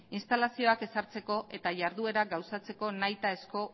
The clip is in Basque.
instalazioak ezartzeko eta jarduerak gauzatzeko nahitaezko